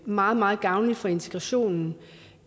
meget meget gavnligt for integrationen